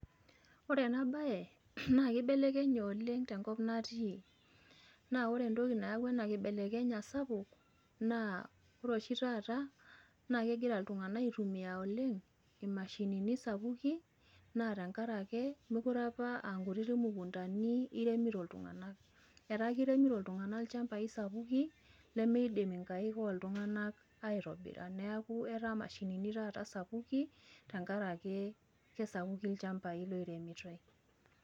Ore enabae na kibelekenye oleng tenkop natii ,na ore entoki nayawua enakibelekenya sapuk na ore oshi taata naa kegira ltunganak aitumia oleng imashinini sapukin natenkaraki metute apa akutitik imukundani nairemito ltunganak, etaa kiremito ltunganak lchambai sapukin nemeidim nkaik oltunganakaitobira neaku ata mashinini sapukin itumiai tenkaraki kesapukin lchambai oiremitoi.